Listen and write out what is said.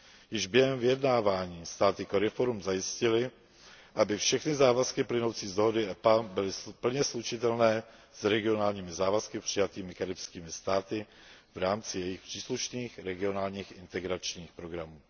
Již během vyjednávání státy CARIFORUM zajistily, aby všechny závazky plynoucí z dohody EPA byly plně slučitelné s regionálními závazky přijatými karibskými státy v rámci jejich příslušných regionálních integračních programů.